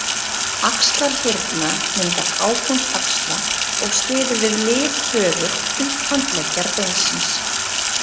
Axlarhyrna myndar hápunkt axla og styður við liðhöfuð upphandleggjarbeinsins.